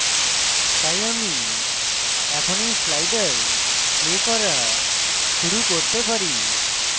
তাই আমি এখন এই sliders play করা শুরু করতে পারি